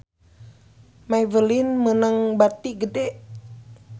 Maybelline meunang bati gede